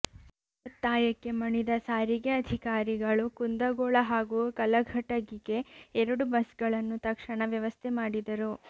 ಅವರ ಒತ್ತಾಯಕ್ಕೆ ಮಣಿದ ಸಾರಿಗೆ ಅಧಿಕಾರಿಗಳು ಕುಂದಗೋಳ ಹಾಗೂ ಕಲಘಟಗಿಗೆ ಎರಡು ಬಸ್ಗಳನ್ನು ತಕ್ಷಣ ವ್ಯವಸ್ಥೆ ಮಾಡಿದರು